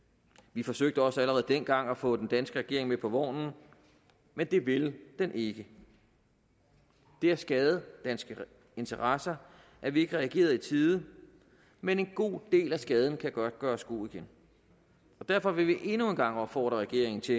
vi forsøgte også allerede dengang at få den danske regering med på vognen men det ville den ikke det har skadet danske interesser at vi ikke har reageret i tide men en god del af skaden kan godt gøres god igen derfor vil vi gerne endnu en gang opfordre regeringen til